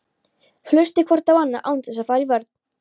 Hlustið hvort á annað án þess að fara í vörn.